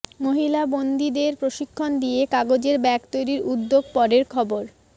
মহিলা বন্দিদের প্রশিক্ষণ দিয়ে কাগজের ব্যাগ তৈরির উদ্যোগ পরের খবর